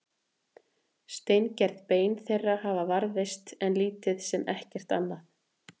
Steingerð bein þeirra hafa varðveist en lítið sem ekkert annað.